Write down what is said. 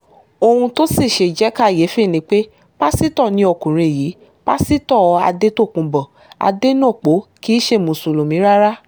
ohun tó sì ṣe jẹ́ kàyééfì ni pé pásítọ̀ ni ọkùnrin yìí pásítọ̀ àdètòkùnbó adẹnopó kì í ṣe mùsùlùmí rárá